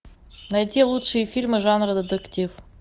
найти лучшие фильмы жанра детектив